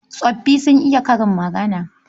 Tsoffi sun iya karin magana..